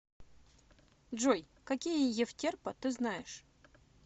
джой какие евтерпа ты знаешь